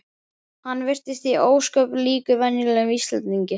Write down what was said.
Hann virtist ósköp líkur venjulegum Íslendingi.